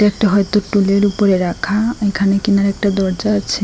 একটা হয়তো টুলের উপরে রাখা এখানে কিনারে একটা দরজা আছে।